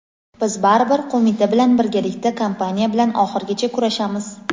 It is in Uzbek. biz baribir qo‘mita bilan birgalikda kompaniya bilan oxirigacha kurashamiz.